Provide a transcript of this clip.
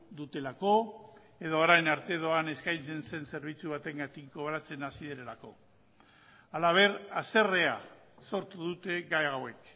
dutelako edo orain arte doan eskaintzen zen zerbitzu bategatik kobratzen hasi direlako halaber haserrea sortu dute gai hauek